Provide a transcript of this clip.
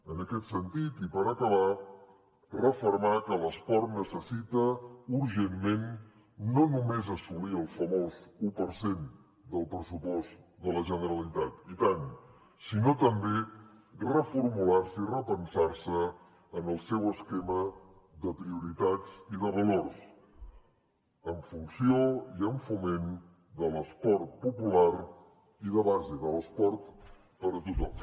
en aquest sentit i per acabar refermar que l’esport necessita urgentment no només assolir el famós un per cent del pressupost de la generalitat i tant sinó també reformular se i repensar se en el seu esquema de prioritats i de valors en funció i amb foment de l’esport popular i de base de l’esport per a tothom